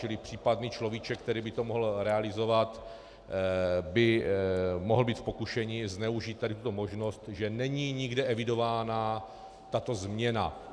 Čili případný človíček, který by to mohl realizovat, by mohl být v pokušení zneužít tady tuto možnost, že není nikde evidována tato změna.